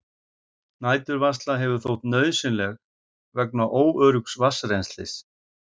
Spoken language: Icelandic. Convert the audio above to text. Næturvarsla hefur þótt nauðsynleg vegna óöruggs vatnsrennslis.